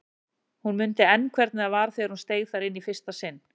Hún mundi enn hvernig það var þegar hún steig þar inn í fyrsta sinn.